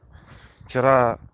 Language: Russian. вчера